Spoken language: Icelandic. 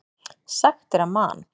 Sagt er að Man.